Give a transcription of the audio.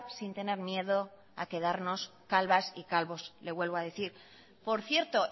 sin tener miedo a quedarnos calvas y calvos le vuelvo a decir por cierto